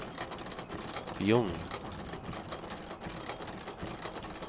Bjugn